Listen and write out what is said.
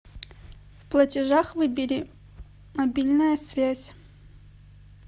в платежах выбери мобильная связь